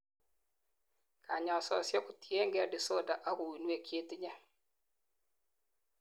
kanyaisosiek kotiengei disorder ak uinwek chetinyei